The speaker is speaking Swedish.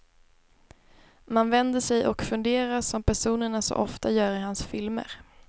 Man vänder sig och funderar, som personerna så ofta gör i hans filmer.